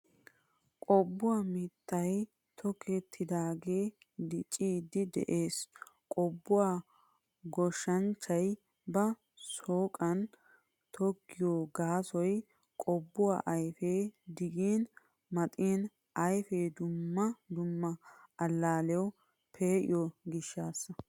Qobbuwaa mitta tokkidogee diccidi de'ees. Qobbuwaa goshshanchchay ba shoqqan tokkiyo gaasoy qobbuwaa ayfiya digin maxin ayfee dumma dumma allaliyawu pe'iyo gishshasa.